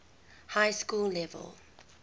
high school level